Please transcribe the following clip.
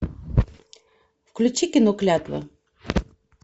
включи кино клятва